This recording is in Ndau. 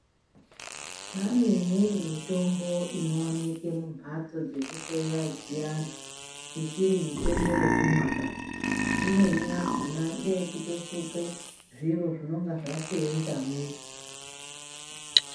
Pane imweni mitombo inooneke mumbatso dzekuhloya dziyani isiri mitombo yekumwa baa. Imweni yakona ngeyekutosuke zviro zvinenga zvaseenzamwo.